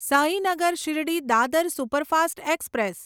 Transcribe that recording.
Sainagar Shirdi Dadar superfast express